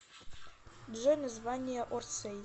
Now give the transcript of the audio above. джой название орсэй